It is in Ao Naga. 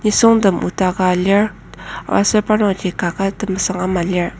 nisung tem otaka lir aser parnokji kaket temesung ama lir.